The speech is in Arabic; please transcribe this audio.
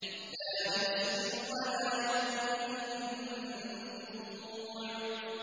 لَّا يُسْمِنُ وَلَا يُغْنِي مِن جُوعٍ